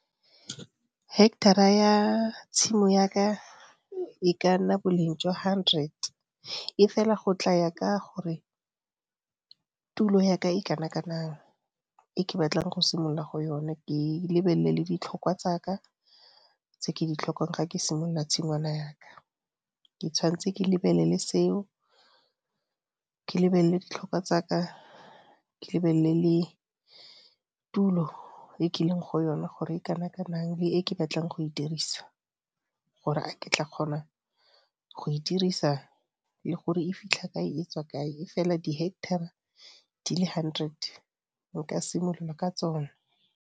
Hectare-ra ya tshimo ya ka e ka nna boleng jwa hundred e fela go tla ya ka gore tulo ya ka e kana kanang e ke batlang go simolola go yona ke lebelele le ditlhokwa tsa ka tse ke di tlhokang ga ke simolola tshingwana ya ka. Ke tshwanetse ke lebelele seo, ke lebelele ditlhokwa tsa ka, ke lebelele le tulo e ke leng go yona gore e kana kanang le e ke batlang go e dirisa, gore a ke tla kgona go e dirisa le gore e fitlha kae e tswa kae, e fela di-hectare-ra di le hundred nka simolola ka tsone.